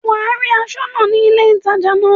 Wà á rí aṣọ́nà ní ilé ìtajà ńlá.